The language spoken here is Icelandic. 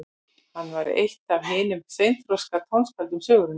Hann var eitt af hinum seinþroska tónskáldum sögunnar.